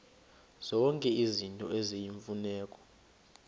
zonke izinto eziyimfuneko